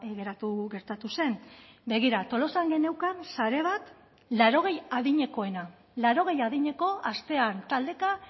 geratu gertatu zen begira tolosan geneukan sare bat laurogei adinekoena laurogei adineko astean taldeka